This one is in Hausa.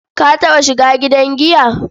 Ka taɓa shiga gidan giya?